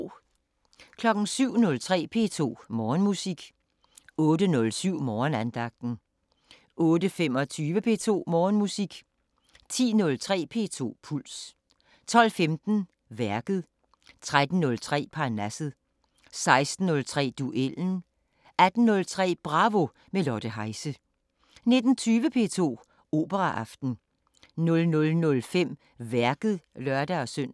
07:03: P2 Morgenmusik 08:07: Morgenandagten 08:25: P2 Morgenmusik 10:03: P2 Puls 12:15: Værket 13:03: Parnasset 16:03: Duellen 18:03: Bravo – med Lotte Heise 19:20: P2 Operaaften 00:05: Værket (lør-søn)